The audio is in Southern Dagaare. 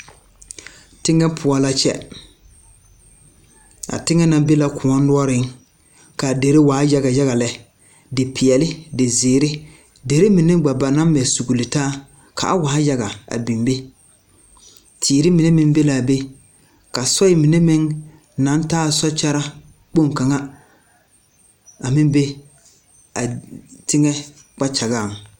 Teŋɛ poɔ la kyɛ a teŋɛ na be la kõɔ noɔreŋ kaa derre waa yaga yaga lɛ depeɛɛle dezeere derre mine gba ba naŋ mɛ sugle taa ka a waa yaga a biŋ be teere mine meŋ be laa be ka soe mine meŋ naŋ taa sokyɛra kpoŋ kaŋ a meŋ be a teŋɛ kpakyagaŋ.